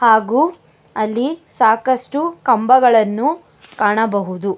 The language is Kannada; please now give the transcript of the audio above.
ಹಾಗು ಅಲ್ಲಿ ಸಾಕಷ್ಟು ಕಂಬಗಳನ್ನು ಕಾಣಬಹುದು.